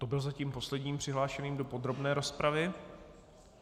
To byl zatím poslední přihlášený do podrobné rozpravy.